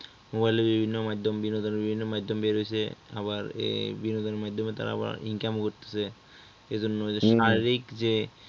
mobile বিভিন্ন মাধ্যম বিনোদনের বিভিন্ন মাধ্যম বের হয়েছে আবার এই বিনোদনের মাধ্যমে তারা আবার Income করতেছে এই জন্য হম এদের শারীরিক যে